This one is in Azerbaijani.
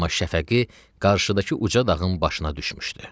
Amma şəfəqi qarşıdakı uca dağın başına düşmüşdü.